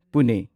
Pune